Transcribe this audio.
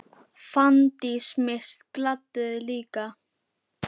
Fanndís Mist gladdi þig líka.